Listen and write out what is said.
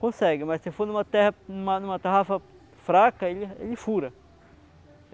Consegue, mas se for em uma terra, em uma em uma tarrafa fraca, ele ele fura.